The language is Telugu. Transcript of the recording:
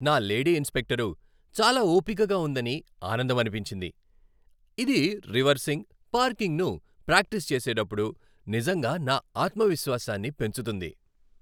నా లేడీ ఇన్స్ట్రక్టర్ చాలా ఓపికగా ఉందని ఆనందమనిపించింది, ఇది రివర్సింగ్, పార్కింగ్‌ను ప్రాక్టీసు చేసేటప్పుడు నిజంగా నా ఆత్మవిశ్వాసాన్ని పెంచుతుంది.